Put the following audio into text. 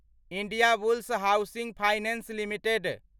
Indiabulls housing finance limited